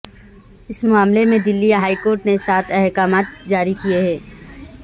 اس معاملے میں Delhi high court نے سات احکامات جاری کیے ہیں